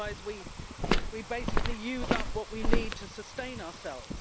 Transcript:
otherwise, we basically use up what we need to sustain ourselves.